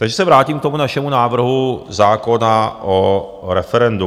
Takže se vrátím k tomu našemu návrhu zákona o referendu.